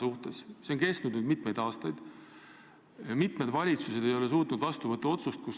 See seis on nüüd juba õige mitu aastat püsinud, mitu valitsust ei ole suutnud otsust vastu võtta.